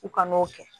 U ka n'o kɛ